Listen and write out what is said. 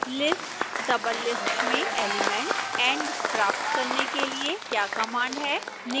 list doublelist में element and प्राप्त करने के लिए क्या कमांड है